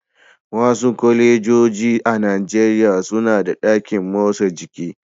Wasu kwalejoji a Najeriya suna da ɗakin motsa jiki.